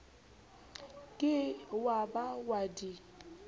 ke wa ba wa di